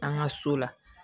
An ka so la